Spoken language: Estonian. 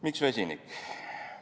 Miks vesinik?